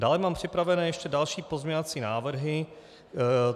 Dále mám připraveny ještě další pozměňovací návrhy.